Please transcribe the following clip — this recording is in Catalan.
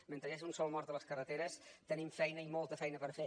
mentre hi hagi un sol mort a les carreteres tenim feina i molta feina per fer